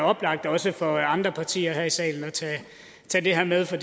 oplagt også for andre partier her i salen at tage det her med for